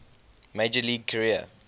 major league career